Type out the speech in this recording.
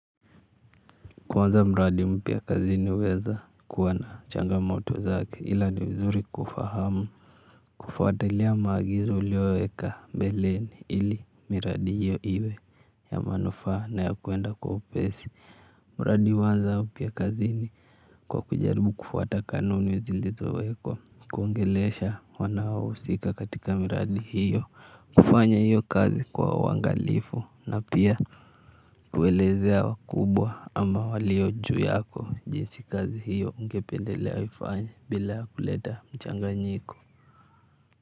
Kuanza mradi mpya kazini huweza kuwa na changamoto zake ila ni vizuri kufahamu kufuatalia maagizo uliyoweka mbeleni ili miradi hiyo iwe ya manufaa na ya kwenda kwa upesi mradi huanza upya kazini kwa kujaribu kufuata kanuni zilizowekwa. Kuongelesha wanaohusika katika miradi hiyo kufanya hiyo kazi kwa uangalifu na pia kuelezea wakubwa ama walio juu yako jinsi kazi hiyo ungependelea aifanya bila kuleta mchanganyiko.